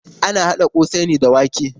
Ana haɗa ƙosai ne da wake.